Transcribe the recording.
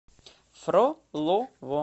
фролово